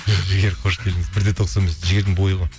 жігер қош келдіңіз бір де тоқсан бес жігердің бойы ғой